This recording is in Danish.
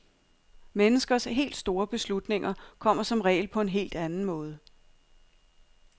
Menneskers helt store beslutninger kommer som regel på en helt anden måde.